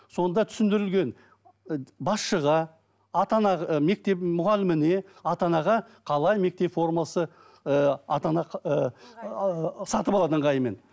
сонда түсіндірілген басшыға ата ана ы мектеп мұғаліміне ата анаға қалай мектеп формасы ііі ата ана ыыы сатып алады ыңғайымен